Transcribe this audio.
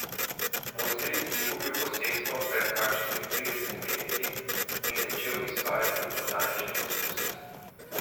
Moj stric je kupil posestvo pred kakšnimi tridesetimi leti in začel izvajati botanične poskuse.